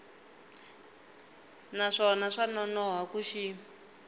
naswona swa nonoha ku xi